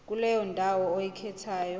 kuleyo ndawo oyikhethayo